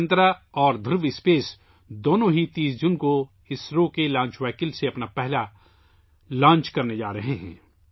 دگنترا اور دھرو اِسپیس دونوں 30 جون کو اسرو کی لانچ وہیکل سے اپنا پہلا لانچ کرنے جا رہے ہیں